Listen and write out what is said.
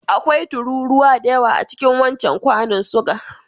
Akwai tururuwa da yawa cikin wancan kwanun suga.